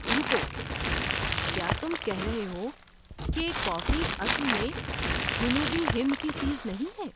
رکو! کیا تم کہہ رہے ہو کہ کافی اصل میں جنوبی ہند کی چیز نہیں ہے؟